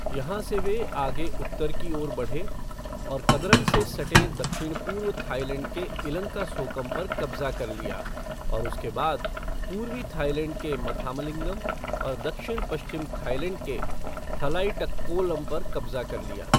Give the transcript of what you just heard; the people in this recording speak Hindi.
यहाँ से वे आगे उत्तर की ओर बढ़े और कदरम से सटे दक्षिण पूर्व थाईलैंड के इलंकासोकम पर कब्ज़ा कर लिया और उसके बाद पूर्वी थाईलैंड के मथामलिंगम और दक्षिण पश्चिम थाईलैंड के थलाईटक्कोलम पर कब्ज़ा कर लिया।